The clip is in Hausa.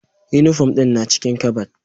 Uniform ɗin na cikin kabad